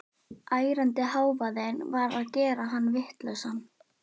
Ærandi hávaðinn var að gera hann vitlausan.